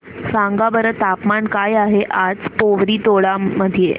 सांगा बरं तापमान काय आहे आज पोवरी टोला मध्ये